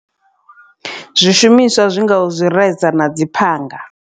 Zwishumiswa zwi ngaho zwireza na dzi phanga.